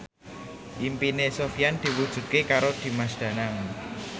impine Sofyan diwujudke karo Dimas Danang